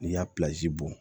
N'i y'a bɔn